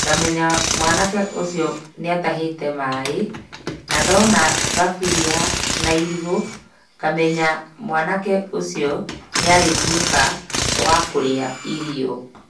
ngamenya mwanake ũcio nĩatahĩte maaĩ. Na ndona thaburia na irigũ ngamenya mwanake ũcio nĩarĩtuĩka wa kũrĩa irio.